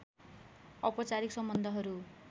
औपचारिक सम्बन्धहरू